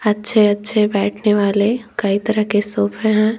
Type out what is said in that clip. अच्छे अच्छे बैठने वाले कई तरह के सोफे हैं।